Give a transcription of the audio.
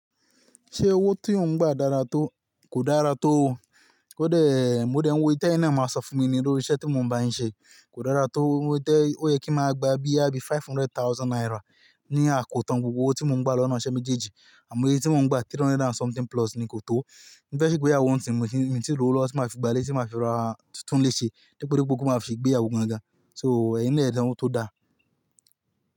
Ṣé owó tí ò ń gba dára tó? Kò dára tó. Kódẹ, mo dẹ̀ ń wo ìtẹ́ ẹyin naa máa sọ fún mi ní lori iṣẹ́ tí mò ń bá ń ṣe. Kò dára tó, ó yẹ kí máa gba bí i abi five hundred thousand naira. Ní àkótán gbogbo owó tí mò ń gba lọ́nà iṣẹ́ mejeji. Àmọ iye tí mò ń gba three hundred and something plus ni kò tó. Mo fẹ́ ṣe ìgbéyàwó nísìnyí, mi ti ròwo lọ́wọ́ tí màá fi gbalé, tí màá fi ra títún lè ṣe, dípò bí gbogbo máa fi gbéyàwó gan gan. So, ẹyin náà ẹ dán wó todáa.